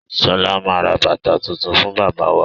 Sọlá máa ra bàtà tuntun fún bàbá wa.